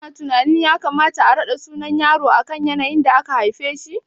Kana tunanin ya kamata a raɗa sunan yaro akan yanayin da aka haife shi?